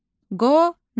Qonaq.